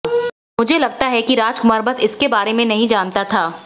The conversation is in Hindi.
मुझे लगता है कि राजकुमार बस इसके बारे में नहीं जानता था